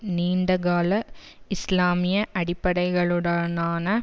நீண்டகால இஸ்லாமிய அடிப்படைகளுடனான